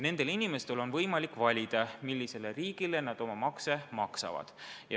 Nendel inimestel on võimalik valida, mis riigile nad oma makse maksavad.